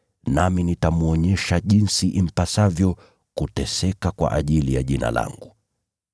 Nami nitamwonyesha jinsi impasavyo kuteseka kwa ajili ya Jina langu.”